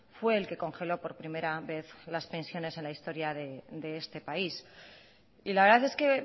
fue el que congeló por primera vez las pensiones en la historia de este país y la verdad es que